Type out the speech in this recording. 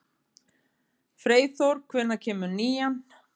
Freyþór, hvenær kemur nían?